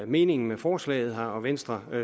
meningen med forslaget her og venstre